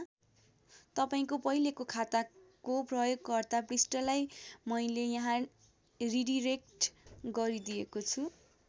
तपाईँंको पहिलेको खाताको प्रयोगकर्ता पृष्ठलाई मैले यहाँ रिडिरेक्ट गरिदिएको छु।